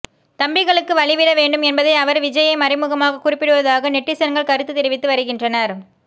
தம்பிகளுக்கு வழிவிட வேண்டும் என்பதை அவர் விஜய்யை மறைமுகமாக குறிப்பிடுவதாக நெட்டிசன்கள் கருத்து தெரிவித்து வருகின்றனர்